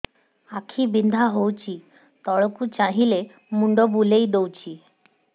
ଆଖି ବିନ୍ଧା ହଉଚି ତଳକୁ ଚାହିଁଲେ ମୁଣ୍ଡ ବୁଲେଇ ଦଉଛି